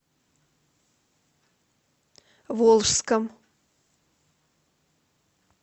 волжском